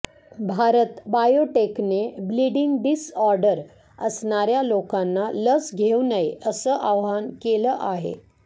भारत बायोटेकने bleeding disorder असणाऱ्या लोकांना लस घेऊ नये असं आवाहन केलं आहे